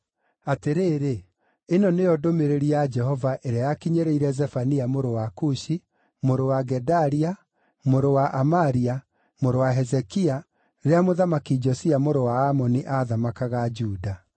Atĩrĩrĩ, ĩno nĩyo ndũmĩrĩri ya Jehova ĩrĩa yakinyĩrĩire Zefania mũrũ wa Kushi, mũrũ wa Gedalia, mũrũ wa Amaria, mũrũ wa Hezekia, rĩrĩa Mũthamaki Josia mũrũ wa Amoni aathamakaga Juda.